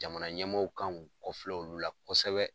Jamana ɲɛmaaw kan k'u kɔfilɛ olu la kɔsɛbɛ.